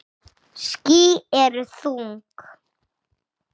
Ský eru þung.